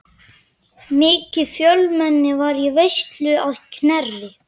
Mikið fjölmenni var í veislunni að Knerri.